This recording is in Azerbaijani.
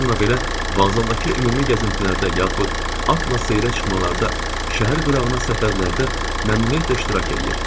Bununla belə, Vazadakı ümumi gəzintilərdə, yaxud atla seyrə çıxmalarda, şəhər qırağına səfərlərdə məmnuniyyətlə iştirak eləyir.